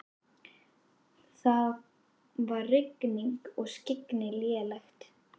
Það var rigning og skyggni lélegt.